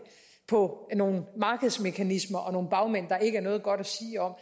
på nogle markedsmekanismer og nogle bagmænd der ikke er noget godt at sige om